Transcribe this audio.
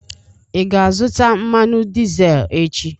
Ị ga-azụta mmanụ dizel echi?